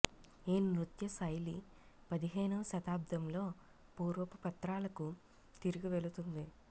ఈ నృత్య శైలి పదిహేనవ శతాబ్దంలో పూర్వపు పత్రాలకు తిరిగి వెళుతుంది